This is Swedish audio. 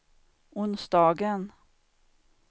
onsdagen